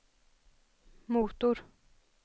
motor